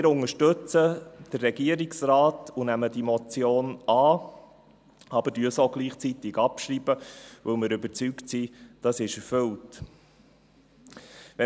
Wir unterstützen den Regierungsrat und nehmen diese Motion an, aber schreiben sie gleichzeitig ab, weil wir davon überzeugt sind, dass sie erfüllt ist.